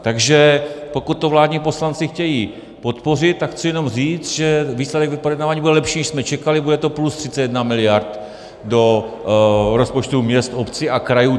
Takže pokud to vládní poslanci chtějí podpořit, tak chci jenom říct, že výsledek projednávání bude lepší, než jsme čekali, bude to plus 31 miliard do rozpočtů měst, obcí a krajů.